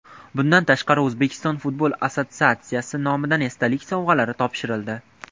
Bundan tashqari O‘zbekiston futbol assotsiatsiyasi nomidan esdalik sovg‘alari topshirildi.